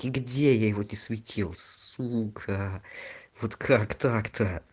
и где я его не светил сука вот как так-то